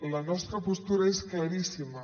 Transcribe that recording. la nostra postura és claríssima